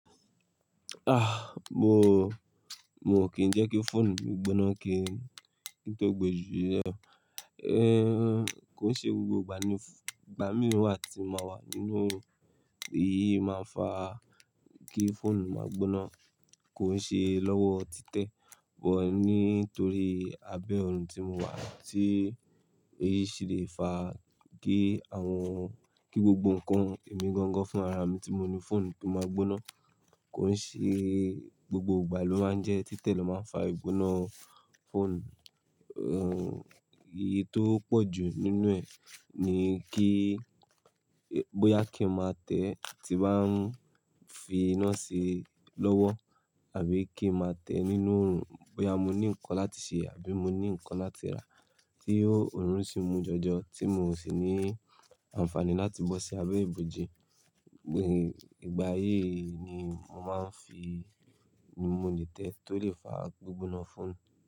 Ah! Mo, mo kìn jẹ́ kí fóònù mi gbóná kí n tó gbe jù le. Eh, kó n ṣe gbogbo ìgbà ní, ìgbà mìinwa tí mà wà nínú, èyí máa ń fa kí fóònù máa gbóná kó ń ṣe lọ́wọ́ títẹ̀. Bọ̀ ní torí abẹ́ òòrùn tí mo wà tí èyí sì le fa kí àwọn, kí gbogbo ǹkan èmi gangan fún ara mi tí mo ní fóònù tó máa gbóná kó ń ṣe gbogbo ìgbà ló máa ń jẹ́ títẹ̀ ló máa ń fa ìgbóná fóònù. Ehn, èyí tó pọ̀ jù nínú ẹ̀ ni kí bóyá kí n máa tẹ̀ tí bá ń fi iná ṣe lọ́wọ́ àbí kí n máa tẹ̀ nínú òòrùn, bóyá mo ní ǹkan láti ṣe àbí mo ní ǹkan láti rà tí ó òòrùn sì mú jọjọ tí mò sì ní àǹfààní láti bọ́ sí abẹ́ ibòji. Ìgbà yìí ni mò máa ń fi ni mo lè tẹ̀ tó lè fa gbígbóná fóònù.